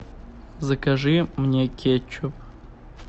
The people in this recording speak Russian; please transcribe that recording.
закажи мне кетчуп